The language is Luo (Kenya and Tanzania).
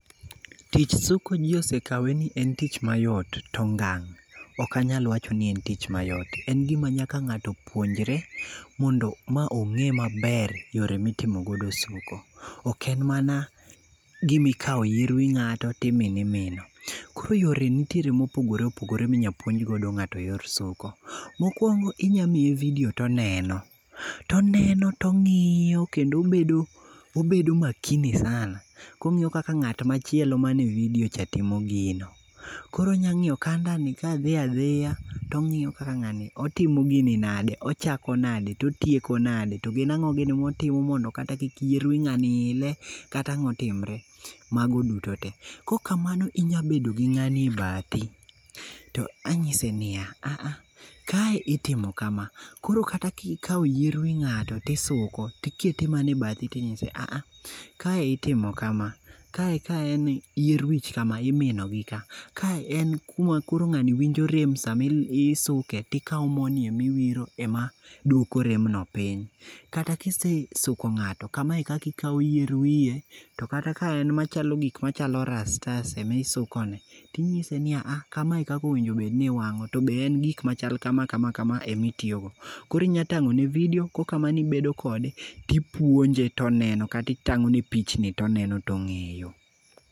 Tich suko ji osekawe ni en tich mayot, to ngang' ok anyal kawe ni en tich mayot. En gima nyaka ng'ato puonjre mondo ma ong'e maber yore mitimo godo suko. Ok en mana gima ikawo yie wi ng'ato to imino imino. Koro yore nitiere mopogore opogore ma inyalo puonj godo ng'ato yor suko. Mokuongo inyalo miye video to oneno. To oneno to ong'iyo kendo obedo, obedo makini sana kong'iyo kaka ng'at machielo manie video cha timo gino. Koro onyalo ng'iyo kanda ni kadhi adhiya, to ong'iyo kaka ng'ani otimo gini, ochako nadi to otieko nadi to gin ang'o gini motimo mondo kata kik yier wi ng'ani ile kata ang'o timre, mago duto te. Kaok kamano to inya bet gi ng'ani e bathi to inyise a a, kae itimo kama. Kae ka en yier wich kama to imino gi ka, kae en kuma koro ng'ani winjo rem sama isuke to ikawo morni ema iwiro ema, duoko remno piny. Kata ka isesuko ng'ato, kama ekaka ikawo yier wiye, to kata ka en machalo gik machalo rastas emisukone, to inyise ni a a, kamae e kaka onego bed ni iwang'o, to be en gik machalo kama, kama, kama kama emitiyo go. Koro inyalo tangone video kokamano to ibedo kode kipuonje to oneno kata itang'one pichni toneno to ong'eyo